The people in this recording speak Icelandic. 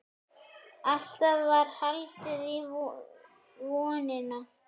Alltaf var haldið í vonina.